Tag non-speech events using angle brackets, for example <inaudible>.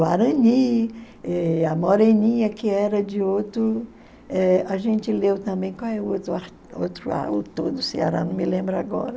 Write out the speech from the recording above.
Guarani, eh a Moreninha, que era de outro, eh a gente leu também, qual é o outro <unintelligible> autor do Ceará, não me lembro agora.